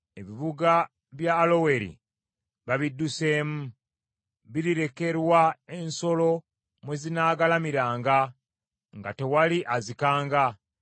Ebibuga bya Aloweri babidduseemu: birirekerwa ensolo mwe zinaagalamiranga nga tewali azikanga.